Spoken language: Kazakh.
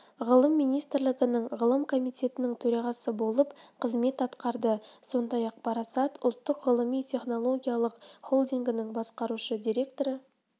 ғылым министрлігінің ғылым комитетінің төрағасы болып қызмет атқарды сондай-ақ парасат ұлттық ғылыми-технологиялық холдингінің басқарушы директоры